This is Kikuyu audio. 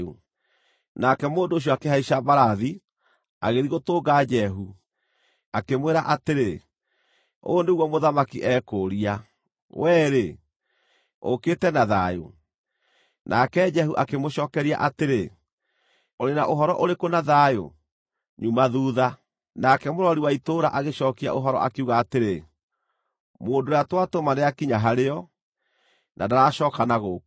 Nake mũndũ ũcio akĩhaica mbarathi, agĩthiĩ gũtũnga Jehu, akĩmwĩra atĩrĩ, “Ũũ nĩguo mũthamaki ekũũria: ‘Wee-rĩ, ũũkĩte na thayũ’?” Nake Jehu akĩmũcookeria atĩrĩ, “Ũrĩ na ũhoro ũrĩkũ na thayũ? Nyuma thuutha.” Nake mũrori wa itũũra agĩcookia ũhoro, akiuga atĩrĩ, “Mũndũ ũrĩa twatũma nĩakinya harĩo, na ndaracooka na gũkũ.”